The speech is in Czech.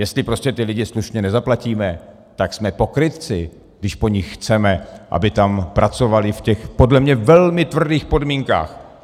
Jestli prostě ty lidi slušně nezaplatíme, tak jsme pokrytci, když po nich chceme, aby tam pracovali v těch, podle mě, velmi tvrdých podmínkách.